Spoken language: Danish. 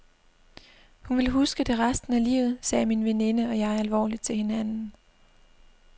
Hun vil huske det resten af livet, sagde min veninde og jeg alvorligt til hinanden.